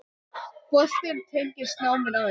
Boltinn tengist náminu aðeins.